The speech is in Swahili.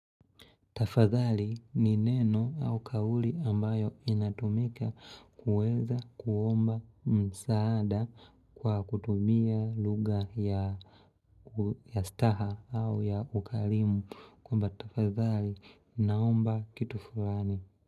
Tafadhali ni neno au kauli ambayo inatumika kuweza kuomba msaada kwa kutumia lugha ya staha au ya ukarimu kwamba tafadhali, ninaomba kitu fulani.